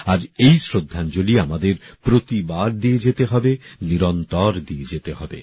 আর এই শ্রদ্ধাঞ্জলি আমাদের প্রতিবার দিয়ে যেতে হবে নিরন্তর দিয়ে যেতে হবে